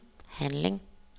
handling